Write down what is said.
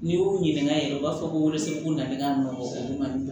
N'i y'u ɲininka yɛrɛ u b'a fɔ koresku nana ne ka nɔɔn o bɛ na